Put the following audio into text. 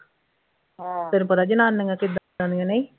ਫੇਰ ਪਤਾ ਜਨਾਨੀਆਂ ਕਿੱਦਾਂ ਦੀਆਂ ਨਹੀਂ